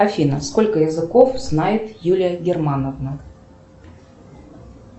афина сколько языков знает юлия германовна